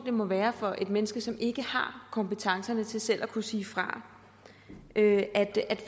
må være for et menneske som ikke har kompetencerne til selv at kunne sige fra at